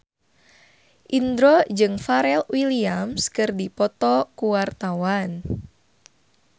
Indro jeung Pharrell Williams keur dipoto ku wartawan